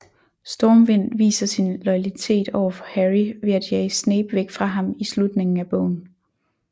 Stormvind viser sin loyalitet overfor Harry ved at jage Snape væk fra ham i slutningen af bogen